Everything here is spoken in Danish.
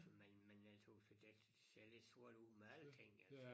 Men men jeg tøs det ser lidt sort ud med alting altså